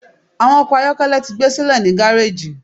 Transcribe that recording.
Awọn ọkọ ayọkẹlẹ ti gbesile ni gareji